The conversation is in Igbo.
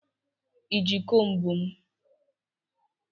Ị ji komb m?